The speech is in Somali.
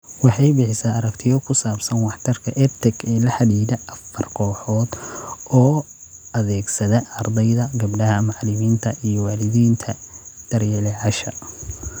Waxay bixisaa aragtiyo ku saabsan waxtarka EdTech ee la xidhiidha afar kooxood oo adeegsada ardayda , gabdhaha , macalimiinta , iyo waalidiinta / daryeelayaasha .